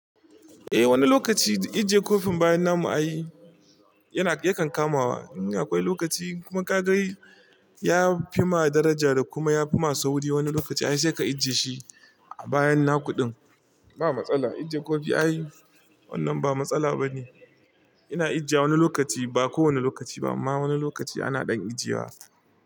Eh wani lokaci ajiye kofin bayan namu ayi yana, ya kan kamawa. Eh akwai lokaci kuma ka ga yafi ma daraja da kuma yafi ma sauri. Wani lokaci wi sai ka ajiye shi a bayan na kuɗin. Ba matsala ajiye kofi ai. Wannan ba matsala ba ne. Ina ajiye wani lokaci ba kowane lokaci ba amma wani lokaci ana ɗan ajiye wa.